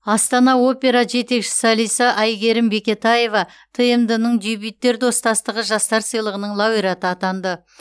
астана опера жетекші солисі әйгерім бекетаева тмд ның дебюттер достастығы жастар сыйлығының лауреаты атанды